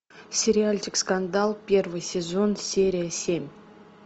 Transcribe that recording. сериальчик скандал первый сезон серия семь